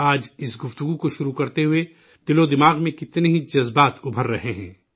آج اس گفتگو کو شروع کرتے ہوئے ذہن و دل میں کتنے ہی جذبات امنڈ رہے ہیں